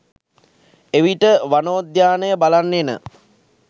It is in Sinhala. එවිට වනෝද්‍යානය බලන්න එන